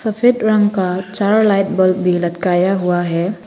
सफेद रंग का चार लाइट बल्ब भी लटकाया हुआ है।